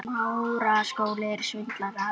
Hvað var breytt?